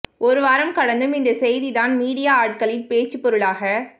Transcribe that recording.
ஒரு வாரம் கடந்தும் இந்த செய்தி தான் மீடியா ஆட்களின் பேச்சுபொருளாக